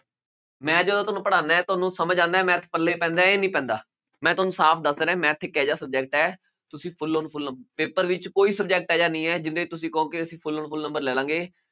ਮੈਂ ਜਦੋਂ ਤੁਹਾਨੂੰ ਪੜ੍ਹਾਉਨਾ ਹੈ ਤੁਹਾਨੂੰ ਸਮਝ ਆਉਂਦਾ ਹੈ math ਪੱਲੇ ਪੈਂਦਾ ਹੈ ਜਾਂਂ ਨਹੀਂ ਪੈਂਦਾ, ਮੈਂ ਤੁਹਾਨੂੰ ਸਾਫ਼ ਦੱਸ ਰਿਹਾਂ math ਇੱਕ ਇਹ ਜਿਹਾ subject ਹੈ ਤੁਸੀਂ full paper ਵਿੱਚ ਕੋਈ subject ਇਹ ਜਿਹਾ ਨਹੀਂ ਹੈ ਤੁਸੀਂ ਕਹੋ ਕਿ ਅਸੀਂ full full number ਲੈ ਲਵਾਂਗੇ